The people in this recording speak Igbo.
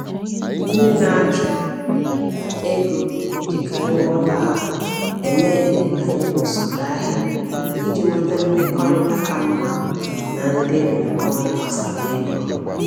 Ndị na-achụ ego na-ejikarị nghọta ha eme ihe banyere usoro ahịa iji nweta mmekọrịta ka mma na ndị ndụmọdụ gbasara ego.